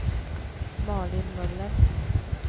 Malin Möller